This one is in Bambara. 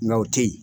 Nka o tɛ yen